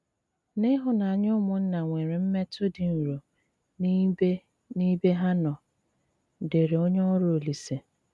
N’íhụ́nànyà úmụ́nna nwéré m̀mé̄tù dị́ nrọ n’íbè íbé há nọ́, ” dére ónyè órù Òlíse.